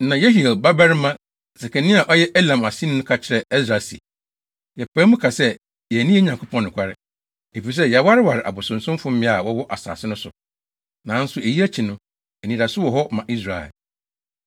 Na Yehiel babarima Sekania a ɔyɛ Elam aseni no ka kyerɛɛ Ɛsra se, “Yɛpae mu ka sɛ yɛanni yɛn Nyankopɔn nokware, efisɛ yɛawareware abosonsomfo mmea a wɔwɔ asase no so. Nanso eyi akyi no, anidaso wɔ hɔ ma Israel.